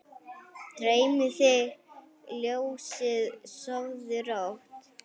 Dreymi þig ljósið, sofðu rótt!